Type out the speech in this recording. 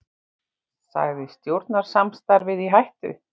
Sagði stjórnarsamstarfið í hættu